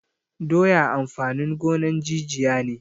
Doya amfanin gonan jijiya ne